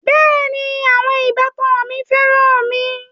Bẹẹni, àwọn ìbátan mi féràn mi